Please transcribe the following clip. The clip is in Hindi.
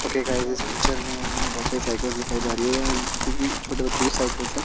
ओके गाईज इस पिक्चर में हमे बहुत सारी साइकल्स दिखाई जा रही है जो कि छोटे बच्चों की साइकल्स है।